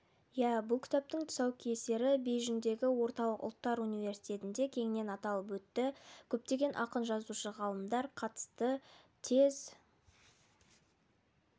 иә бұл кітаптың тұсаукесері бейжіңдегі орталық ұлттар университетінде кеңінен аталып өтті көптеген ақын-жазушы ғалымдар қатысты тез